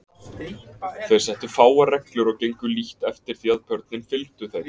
Þeir settu fáar reglur og gengu lítt eftir því að börnin fylgdu þeim.